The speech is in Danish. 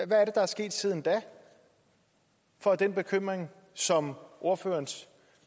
der er sket siden da når den bekymring som ordførerens